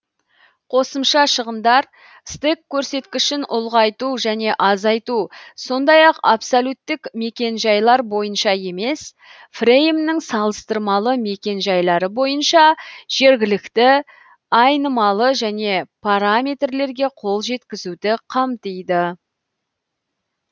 қосымша шығындар стек көрсеткішін ұлғайту және азайту сондай ақ абсолюттік мекен жайлар бойынша емес фреймнің салыстырмалы мекен жайлары бойынша жергілікті айнымалы және параметрлерге қол жеткізуді қамтиды